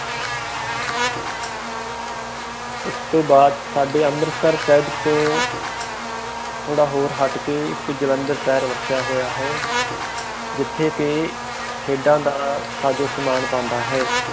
ਇਸ ਤੋਂ ਬਾਦ ਸਾਡੇ ਅੰਮ੍ਰਿਤਸਰ ਸਾਹਿਬ ਤੋਂ ਥੋੜ੍ਹਾ ਹੋਰ ਹੱਟ ਕੇ ਇਕ ਜਲੰਧਰ ਸ਼ਹਿਰ ਵੱਸਿਆ ਹੋਈਏ ਹੈ ਜਿਥੇ ਕਿ ਖੇਡਾਂ ਦਾ ਸਾਜੋ ਸਾਮਾਨ ਬੰਦਾ ਹੈ